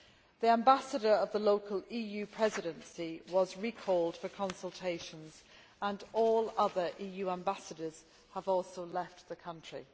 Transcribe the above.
The Ambassador of the EU Presidency was recalled for consultations and all other EU ambassadors have also left the country.